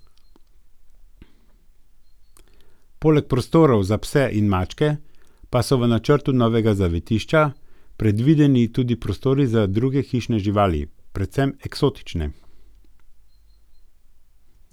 Poleg prostorov za pse in mačke pa so v načrtu novega zavetišča predvideni tudi prostori za druge hišne živali, predvsem eksotične.